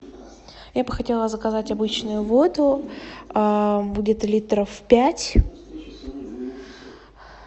я бы хотела заказать обычную воду будет литров пять